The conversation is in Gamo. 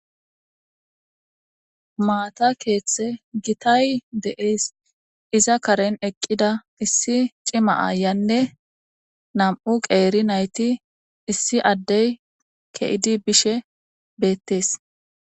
Mata keeththy gitay deas iza karen eqida issi cima ayiyanne nam'u qeri nayiti issi adde keidi bishe betes.